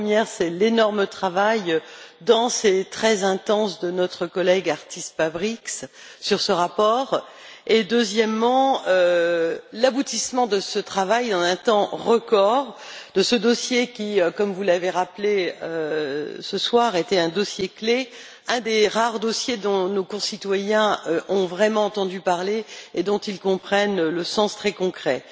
La première, c'est l'énorme travail dense et très intense de notre collègue, Artis Pabriks, sur ce rapport et, la deuxième, c'est l'aboutissement de ce travail en un temps record, de ce dossier qui, comme vous l'avez rappelé ce soir, était un dossier clé, un des rares dossiers dont nos concitoyens ont vraiment entendu parler et dont ils comprennent le sens très concret.